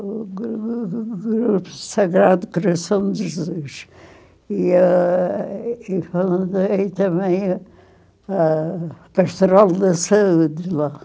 o gru o grupo Sagrado Coração de Jesus e ah e também e também a Pastoral da Saúde lá.